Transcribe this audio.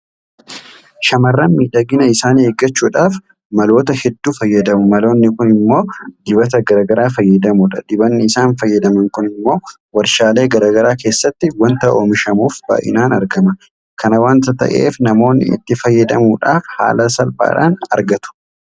Shaamarran miidhagina isaanii eeggachuudhaaf maloota hedduu fayyadamu. Maloonni kun immoo dibata garaa garaa fayyadamuudha. Dibanni isaan fayyadaman kun immoo warshaalee garaa garaa keessatti waanta oomishamuuf baay'inaan argama. Kana waanta ta'eef namoonni itti fayyadamuudhaaf haala salphaadhaan argatu.